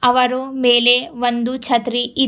ಅವರು ಮೇಲೆ ಒಂದು ಛತ್ರಿ ಇದ್--